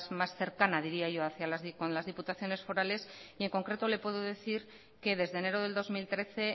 más cercana diría yo con las diputaciones forales y en concreto le puede decir que desde enero del dos mil trece